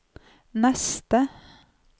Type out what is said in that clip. neste